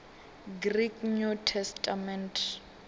greek new testament